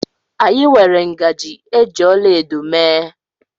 Anyị nwere ngaji eji ọlaedo mee